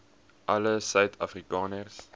alle suid afrikaners